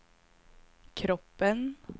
kroppen